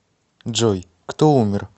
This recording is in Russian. джой кто умер